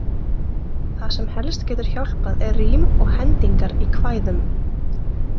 Það sem helst getur hjálpað er rím og hendingar í kvæðum.